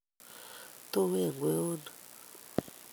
Tuween kweonik